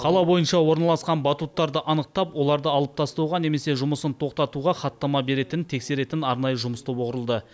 қала бойынша орналасқан батуттарды анықтап оларды алып тастауға немесе жұмысын тоқтатуға хаттама беретін тексеретін арнайы жұмыс тобы құрылды